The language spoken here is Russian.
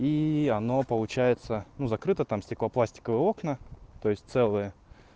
и оно получается ну закрыто там стеклопластиковые окна то есть целые